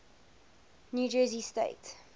new jersey state